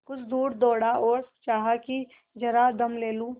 कुछ दूर दौड़ा और चाहा कि जरा दम ले लूँ